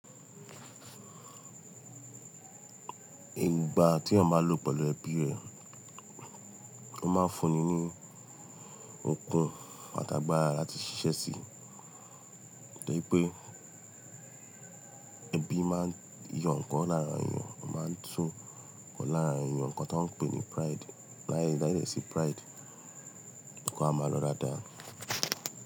Ìgbà tí èèyàn bá lọ pẹ̀lú ẹbí èèyàn, o ma ń fún ni okun àti agabra láti ṣi ṣe sí tó rí pé ẹbí ma yọ ǹkan lára èèyàn, o ma tún ǹkan lára èèyàn nǹkan tán pè ní pride. Láì láì dẹ sí pride, ǹkan á máa lọ dáadáa.